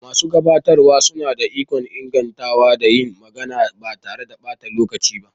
Masu gabatarwa suna da ikon ingantawa da yin magana ba tare da ɓata lokaci ba.